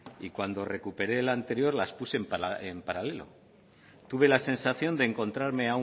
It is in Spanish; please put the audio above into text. y cuando recuperé la anterior las puse en paralelo tuve la sensación de encontrarme